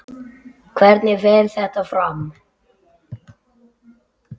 Hvernig fer þetta fram?